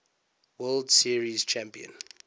world series champion